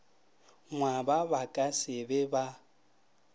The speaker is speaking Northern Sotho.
ngwaba ba ka se be